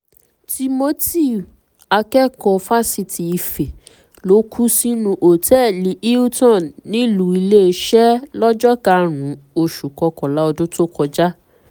timothy akẹ́kọ̀ọ́ fásitì ife ló kú sínú òtẹ́ẹ̀lì hilton nílùú iléeṣẹ́ lọ́jọ́ karùn-ún oṣù kọkànlá ọdún tó kọjá